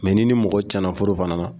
n'i ni mɔgɔ cɛn na furu fana na.